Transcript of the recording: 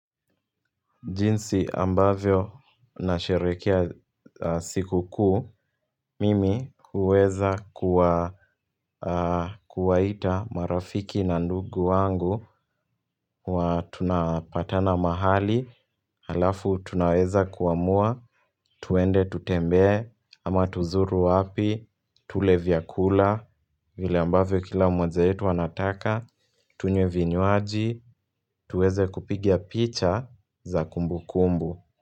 Jinsi ambavyo nasherehekea siku kuu, mimi huweza kuwa kuwaita marafiki na ndugu wangu huwa tunapatana mahali, alafu tunaweza kuamua, tuende tutembee, ama tuzuru wapi, tule vyakula, vile ambavyo kila mmoja wetu anataka, tunywe vinywaji, tuweze kupiga picha za kumbu kumbu.